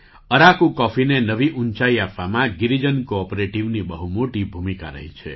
અરાકુ કૉફીને નવી ઊંચાઈ આપવામાં ગિરિજન કૉઑપરેટિવની બહુ મોટી ભૂમિકા રહી છે